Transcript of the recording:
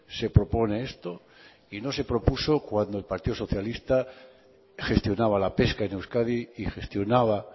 se propone esto y no se propuso cuando el partido socialista gestionaba la pesca en euskadi y gestionaba